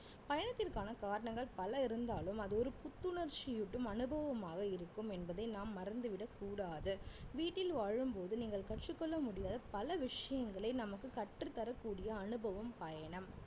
பயணத்திற்கான காரணங்கள் பல இருந்தாலும் அது ஒரு புத்துணர்ச்சியூட்டும் அனுபவமாக இருக்கும் என்பதை நாம் மறந்து விடக்கூடாது வீட்டில் வாழும்போது நீங்கள் கற்றுக் கொள்ள முடியாத பல விஷயங்களை நமக்கு கற்றுத் தரக்கூடிய அனுபவம் பயணம்